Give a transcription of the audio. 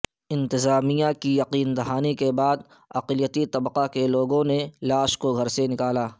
انتظامیہ کی یقین دہانی کے بعداقلیتی طبقہ کے لوگوںنے لاش کوگھرسے نکالا